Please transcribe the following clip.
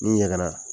N'i yɛlɛnna